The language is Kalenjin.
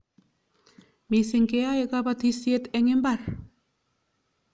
Missing' keyoe kapatisyet eng' imbar